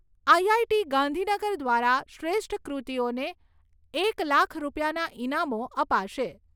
IIT Gandhinagar દ્વારા શ્રેષ્ઠ કૃતિઓને એક લાખ રૂપિયાના ઇનામો અપાશે.